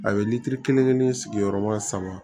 A ye litiri kelen kelen sigiyɔrɔma saba